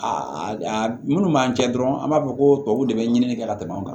A a minnu b'an cɛ dɔrɔn an b'a fɔ ko tubabuw de bɛ ɲini ka tɛmɛ u kan